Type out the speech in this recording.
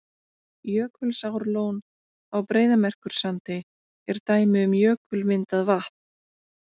Jökulsárlón á Breiðamerkursandi er dæmi um jökulmyndað vatn.